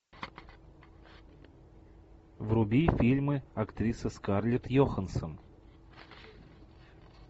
вруби фильмы актрисы скарлетт йоханссон